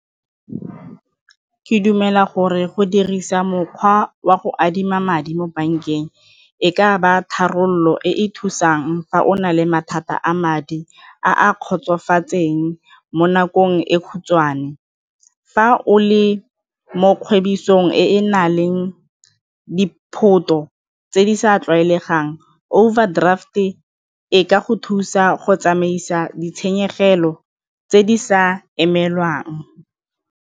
Ke dumela gore go dirisa mokgwa wa go adima madi mo bankeng e ka ba tharabololo e e thusang fa o na le mathata a madi a a kgotsofatseng mo nakong e khutshwane. Fa o le mo kgwebong e na leng di tse di sa tlwaelegang overdraft-e e ka go thusa go tsamaisa ditshenyegelo tse di sa emelwang.